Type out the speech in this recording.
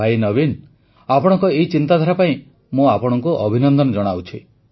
ଭାଇ ନବୀନ ଆପଣଙ୍କ ଏହି ଚିନ୍ତାଧାରା ପାଇଁ ମୁଁ ଆପଣଙ୍କୁ ଅଭିନନ୍ଦନ ଜଣାଉଛି